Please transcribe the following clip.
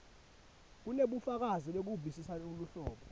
kunebufakazi bekuvisisa luhlobo